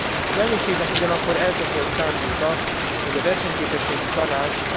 Az elnökségnek ugyanakkor eltökélt szándéka, hogy a Versenyképességi Tanács